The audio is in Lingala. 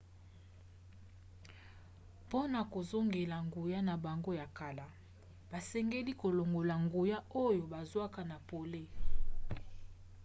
mpona kozongela nguya na bango ya kala basengeli kolongola nguya oyo bazwaka na pole